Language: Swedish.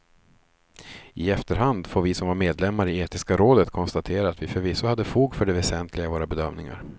I efterhand får vi som var medlemmar i etiska rådet konstatera att vi förvisso hade fog för det väsentliga i våra bedömningar.